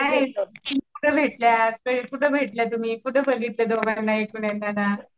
काय कुठं भेटलात? कुठं बघितलं तुम्ही दोघं एकमेकांना?